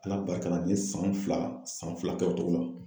Ala barika la, ne san fila san fila kɛ o cogo la.